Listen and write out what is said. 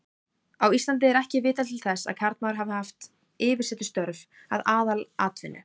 Á Íslandi er ekki vitað til þess að karlmaður hafi haft yfirsetustörf að aðalatvinnu.